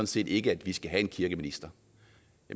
set ikke at vi skal have en kirkeminister